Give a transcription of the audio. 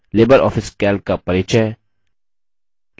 Libre office calc का परिचय